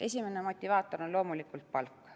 Esimene motivaator on loomulikult palk.